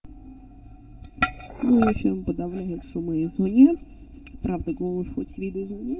ну фильм подавление суммы из мне правда голос хоть видоизменил